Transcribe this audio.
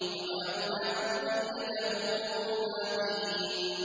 وَجَعَلْنَا ذُرِّيَّتَهُ هُمُ الْبَاقِينَ